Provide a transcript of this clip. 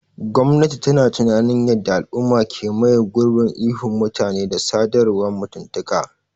Gwamnati tana tunanin yadda al'umma ke maye gurbin ihun mutane da sadarwar mutuntaka.